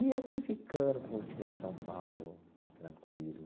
E eu fui ficando, curtindo esse São Paulo, tranquilo.